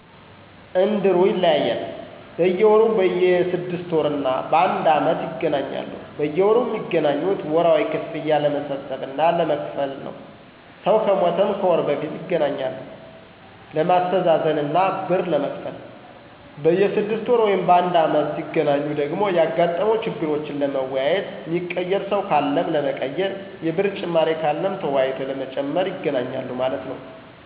እንድሩ ይለያያሉ፦ በየወሩ፣ በየ 6 ወር እና ባንድ አመት ይገናኛሉ። በየወሩ ሚገናኙት ወርሃዊ ክፍያ ለመሠብሰብ እና ለመክፈል ነው። ሰው ከሞተም ከወር በፊት ይገናኛሉ ለማሥተዛዘን እና ብር ለመክፈል። በየ 6ወር ወይም ባንድ አመት ሢገናኙ ደግሞ ያጋጠሙ ችግሮችን ለመወያየት፣ ሚቀየር ሰው ካለም ለመቀየር፣ የብር ጭማሪ ካለም ተወያይቶ ለመጨመር ይገናኛሉ ማለት ነው